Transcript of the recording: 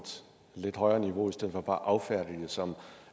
lidt højere niveau i stedet for bare at affærdige det som